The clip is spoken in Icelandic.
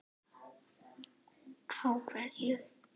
Á hverju?